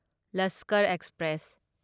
Lashkar express